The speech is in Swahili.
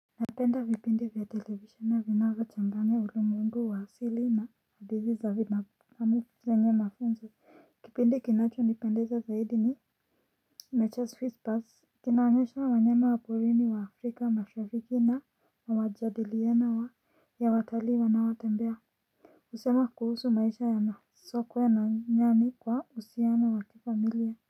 Napenda vipindi vya televisheni vinavyochanganya ulimwengu wa asili na hadithi za vina zenye mafunzo. Kipindi kinachonipendeza zaidi ni nature swiss pass. Kinaonyesha wanyama wa porini wa Afrika mashariki na mawajadiliano wa ya watalii wanaotembea. Husema kuhusu maisha ya masokwe na nyani kwa uhusiano wa kifamilia.